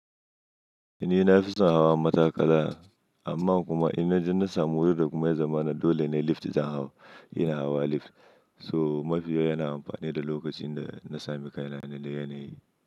Ni na fi son hawa matakala, amma kuma inna ji na samu wuri da kuma ya zama dole na yi lift zan hau, ina hawa lift. So mafiya yana amfani da lokacin da na sami kaina da yanayi.